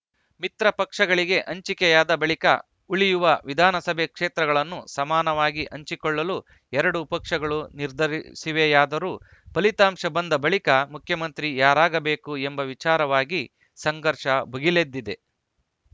ಮಿತ್ರಪಕ್ಷಗಳಿಗೆ ಹಂಚಿಕೆಯಾದ ಬಳಿಕ ಉಳಿಯುವ ವಿಧಾನಸಭೆ ಕ್ಷೇತ್ರಗಳನ್ನು ಸಮನಾಗಿ ಹಂಚಿಕೊಳ್ಳಲು ಎರಡೂ ಪಕ್ಷಗಳು ನಿರ್ಧರಿಸಿವೆಯಾದರೂ ಫಲಿತಾಂಶ ಬಂದ ಬಳಿಕ ಮುಖ್ಯಮಂತ್ರಿ ಯಾರಾಗಬೇಕು ಎಂಬ ವಿಚಾರವಾಗಿ ಸಂಘರ್ಷ ಭುಗಿಲೆದ್ದಿದೆ